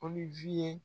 Ko ni ye